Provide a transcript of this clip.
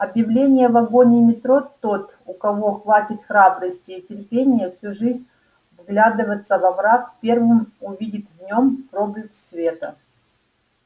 объявление в вагоне метро тот у кого хватит храбрости и терпения всю жизнь вглядываться во мрак первым увидит в нем проблеск света